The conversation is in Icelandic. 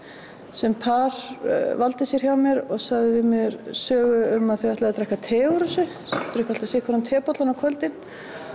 sem par valdi sér hjá mér og sagði mér sögu um að þau ætluðu að drekka te úr þessu þau drukku alltaf sinn hvorn tebollann á kvöldin